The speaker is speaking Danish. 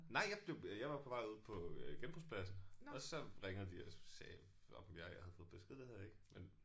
Nej jeg blev jeg var på vej ud på øh genbrugspladsen og så ringede de og sagde om ja jeg havde fået besked det havde jeg ikke men